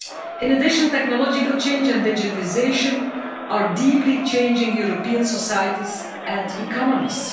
In addition, technological change and digitisation are deeply changing European societies and economies.